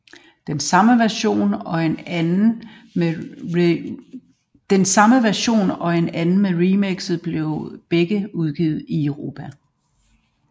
Den samme version og en anden med remixer blev begge udgivet i Europa